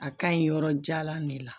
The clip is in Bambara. A ka ɲi yɔrɔ jalan de la